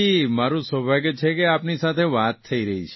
મારૂં સૌભાગ્ય છે કે આપની સાથે વાત થઇ રહી છે